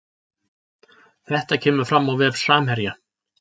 Þetta kemur fram á vef Samherja